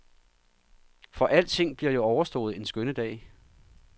For alting bliver jo overstået en skønne dag.